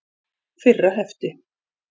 Fyrra hefti.